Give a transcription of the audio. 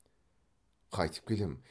қайтіп келем